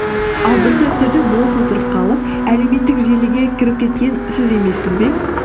ал бір сәттерде бос отырып қалып әлеуметтік желіге кіріп кеткен сіз емессіз бе